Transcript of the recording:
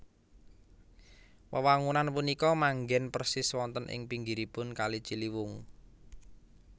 Wewangunan punika manggen persis wonten ing pinggiripun kali Ciliwung